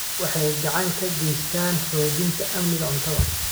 Waxay gacan ka geystaan ??xoojinta amniga cuntada.